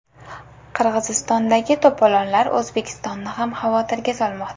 Qirg‘izistondagi to‘polonlar O‘zbekistonni ham xavotirga solmoqda.